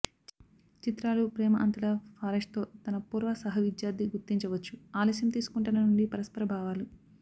చిత్రాలు ప్రేమ అంతటా ఫారెస్ట్తో తన పూర్వ సహవిద్యార్ధి గుర్తించవచ్చు ఆలస్యం తీసుకుంటున్న నుండి పరస్పర భావాలు